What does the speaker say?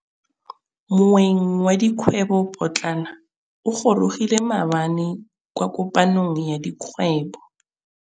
Moêng wa dikgwêbô pôtlana o gorogile maabane kwa kopanong ya dikgwêbô.